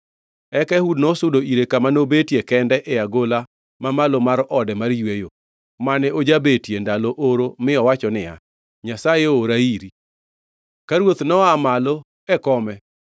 Eka Ehud nosudo ire kama nobetie kende e agola ma malo mar ode mar yweyo, mane ojabetie ndalo oro mi owacho niya, “Nyasaye oora iri.” Ka Ruoth noa malo e kome,